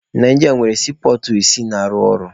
Naijiria nwere siipọọtụ isii na-arụ ọrụ.